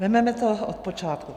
Vezmeme to od počátku.